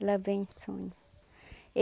Ela vem e sonha.